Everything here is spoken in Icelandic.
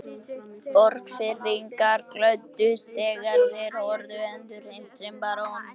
Borgfirðingar glöddust þegar þeir höfðu endurheimt sinn barón.